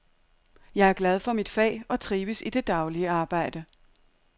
Jeg er glad for mit fag og trives i det daglige arbejde.